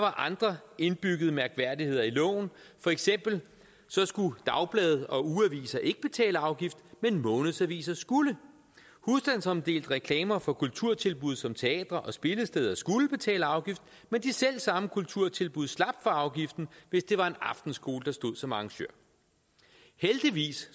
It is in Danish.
andre indbyggede mærkværdigheder i loven for eksempel skulle dagblade og ugeaviser ikke betale afgift men månedsaviser skulle husstandsomdelte reklamer for kulturtilbud som teatre og spillesteder skulle betale afgift men de selv samme kulturtilbud slap for afgiften hvis det var en aftenskole der stod som arrangør heldigvis